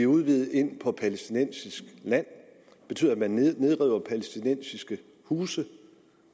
udvidet inde på palæstinensisk land det betyder at man nedriver palæstinensiske huse